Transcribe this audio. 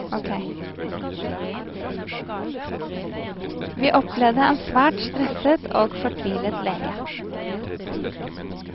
Vi opplevde en svært stresset og fortvilet lege.